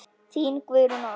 Þín, Guðrún Ósk.